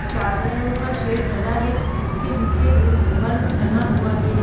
चादरों का शेड डला है जिसके नीचे एक बल्ब टंगा हुआ है।